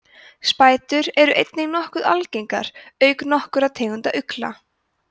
spætur eru einnig nokkuð algengar auk nokkurra tegunda ugla